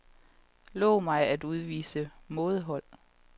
Lov mig at udvise mådehold.